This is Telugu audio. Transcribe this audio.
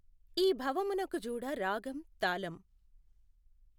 ఈ భవమునకు జూడ రాగం తాళం